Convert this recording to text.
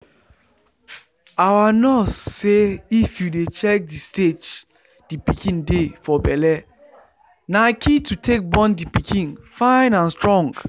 our nurse say if you dey check the stage the pikin dey for belle na key to take born the pikin fine and strong